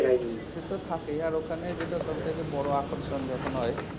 সেতো থাকেই আর ওখানে যেটা সব থেকে বড় আকর্ষণ যখন হয়,